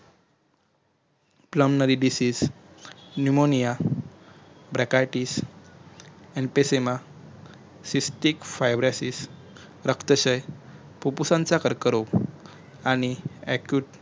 plummnery basisnemoniabrakaticevervesemicystic fibrosis रक्तक्षय फुप्फुसाचा कर्करोग आणि